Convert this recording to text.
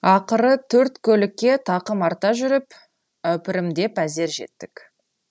ақыры төрт көлікке тақым арта жүріп әупірімдеп әзер жеттік